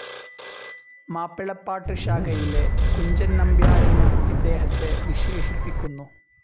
മാപ്പിളപ്പാട്ട് ശാഖയിലെ കുഞ്ചൻ നമ്പ്യാരെന്നും ഇദ്ദേഹത്തെ വിശേഷിപ്പിക്കുന്നു.